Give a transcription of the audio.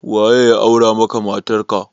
Waye ya aura maka matarka?